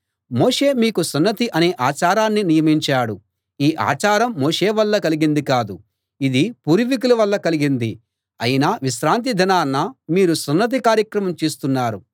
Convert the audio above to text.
మోషే మీకు సున్నతి అనే ఆచారాన్ని నియమించాడు ఈ ఆచారం మోషే వల్ల కలిగింది కాదు ఇది పూర్వీకుల వల్ల కలిగింది అయినా విశ్రాంతి దినాన మీరు సున్నతి కార్యక్రమం చేస్తున్నారు